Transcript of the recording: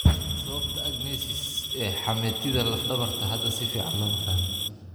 Sababta agenesis ee xameetida laf dhabarta hadda si fiican looma fahmin.